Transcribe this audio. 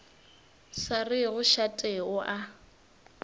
sa rego šate o a